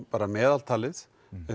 meðaltalið